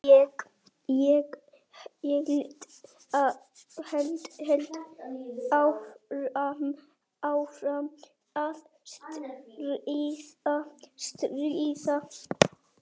Ég held áfram að stríða.